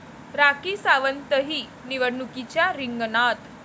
राखी सावंतही निवडणुकीच्या रिंगणात